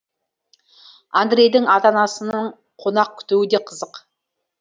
андрейдің ата анасының қонақ күтуі де қызық